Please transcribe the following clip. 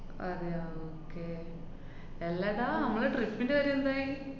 അതെയാ, okay എല്ലെടാ നമ്മള trip ന്‍റെ കാര്യെന്തായി?